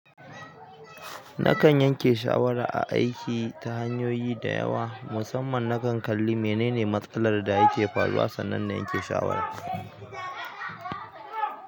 Nakan yanke shawara a aiki ta hanyoyi da yawa, musamman nakan kalli menene matsalar da yake faruwa sannan na yanke shawara.